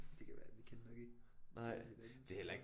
Det kan være vi kendte nok ikke hinanden